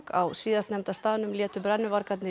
á síðastnefnda staðnum létu brennuvargarnir